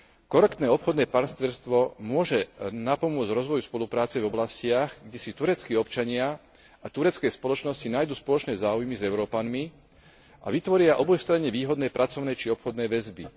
Korektné obchodné partnerstvo môže napomôcť rozvoju spolupráce v oblastiach, kde si tureckí občania a turecké spoločnosti nájdu spoločné záujmy s Európanmi a vytvoria obojstranne výhodné pracovné či obchodné väzby.